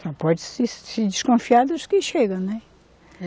Só pode se, se desconfiar dos que chega, né?